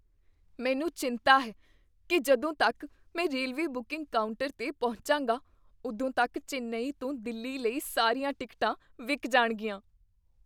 ਮੈਨੂੰ ਚਿੰਤਾ ਹੈ ਕੀ ਜਦੋਂ ਤੱਕ ਮੈਂ ਰੇਲਵੇ ਬੁਕਿੰਗ ਕਾਊਂਟਰ 'ਤੇ ਪਹੁੰਚਾਂਗਾ, ਉਦੋਂ ਤੱਕ ਚੇਨੱਈ ਤੋਂ ਦਿੱਲੀ ਲਈ ਸਾਰੀਆਂ ਟਿਕਟਾਂ ਵਿਕ ਜਾਣਗੀਆਂ।